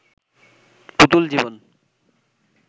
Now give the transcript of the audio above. পুতুল জীবন